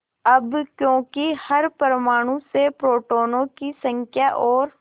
अब क्योंकि हर परमाणु में प्रोटोनों की संख्या और